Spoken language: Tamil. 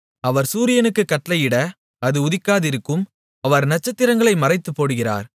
அவர் சூரியனுக்குக் கட்டளையிட அது உதிக்காதிருக்கும் அவர் நட்சத்திரங்களை மறைத்துப்போடுகிறார்